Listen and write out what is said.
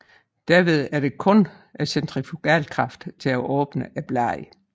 Derved er der kun centrifugalkraften til at åbne bladene